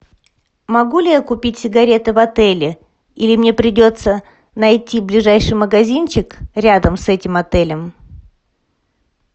могу ли я купить сигареты в отеле или мне придется найти ближайший магазинчик рядом с этим отелем